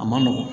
A man nɔgɔn